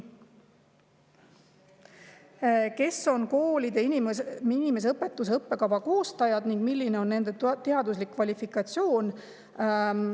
"Kes on koolide inimeseõpetuse õppekava koostajad ning milline on nende teaduslik kvalifikatsioon?